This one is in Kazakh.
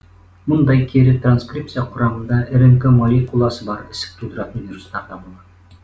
мұндай кері транскрипция құрамында рнқ молекуласы бар ісік тудыратын вирустарда болады